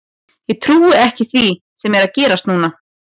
Ég trúi ekki því sem er að gerast núna.